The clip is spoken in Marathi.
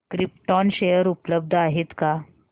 क्रिप्टॉन शेअर उपलब्ध आहेत का